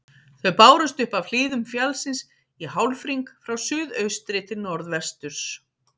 Þau bárust upp af hlíðum fjallsins í hálfhring frá suðaustri til norðvesturs.